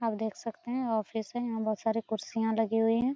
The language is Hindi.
आप देख सकते है ऑफिस है यहाँ बहुत सारे कुर्सियाँ लगी गई हैं।